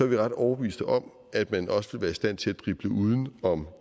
vi ret overbevist om at man også ville være i stand til at drible uden om